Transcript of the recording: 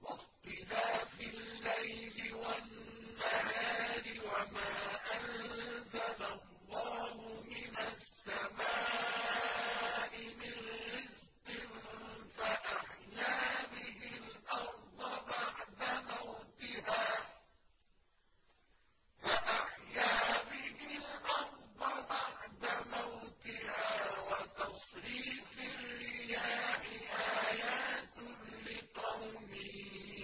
وَاخْتِلَافِ اللَّيْلِ وَالنَّهَارِ وَمَا أَنزَلَ اللَّهُ مِنَ السَّمَاءِ مِن رِّزْقٍ فَأَحْيَا بِهِ الْأَرْضَ بَعْدَ مَوْتِهَا وَتَصْرِيفِ الرِّيَاحِ آيَاتٌ لِّقَوْمٍ